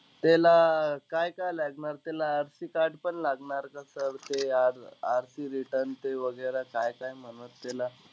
त्याला काय-काय लागणार? त्याला RC card पण लागणार का? sir ते r r RC return ते वगैरा काय-काय म्हणून त्याला?